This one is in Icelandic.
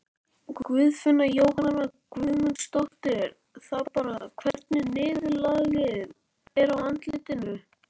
Guðfinna Jóhanna Guðmundsdóttir: Það bara, hvernig niðurlagið er á álitinu?